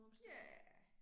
Ja